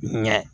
Ɲɛ